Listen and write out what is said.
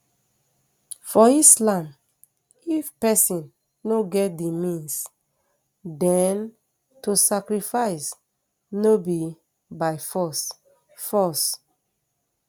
for islam if pesin no get di means den to sacrifice no be by force force